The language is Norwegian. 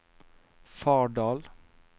Fardal